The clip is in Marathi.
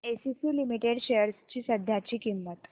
एसीसी लिमिटेड शेअर्स ची सध्याची किंमत